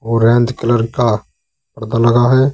Orange colour का पर्दा लगा है।